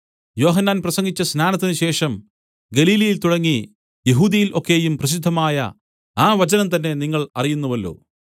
യോഹന്നാൻ പ്രസംഗിച്ച സ്നാനത്തിന് ശേഷം ഗലീലയിൽ തുടങ്ങി യെഹൂദ്യയിൽ ഒക്കെയും പ്രസിദ്ധമായ ആ വചനം തന്നെ നിങ്ങൾ അറിയുന്നുവല്ലോ